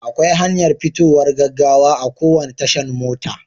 Akwai hanyar fitowar gaggawa a kowane tashan mota.